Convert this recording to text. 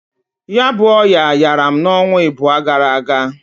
Ya bu ọya yara m n'onwa ịbụa gara aga.